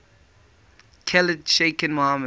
khalid sheikh mohammed